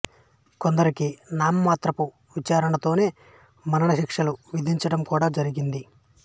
కొందరికి నామమాత్రపు విచారణతోనే మరణ శిక్షలు విధించిడం కూడా జరిగింది